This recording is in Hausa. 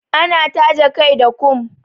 Ana taje kai da kum.